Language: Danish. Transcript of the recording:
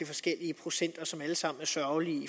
forskellige procenter som jo alle sammen er sørgelige